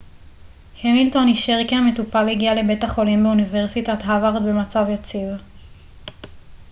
המילטון אישר כי המטופל הגיע לבית החולים באוניברסיטת הווארד במצב יציב